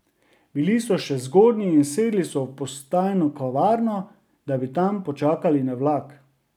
Bili so še zgodnji in sedli so v postajno kavarno, da bi tam počakali na vlak.